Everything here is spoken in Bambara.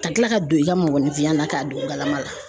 Ka kila ka don i ka mɔgɔninfinya la ka don galama la.